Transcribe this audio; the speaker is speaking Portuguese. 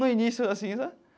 No início, assim, sabe?